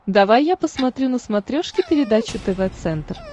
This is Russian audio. давай я посмотрю на смотрешке передачу тв центр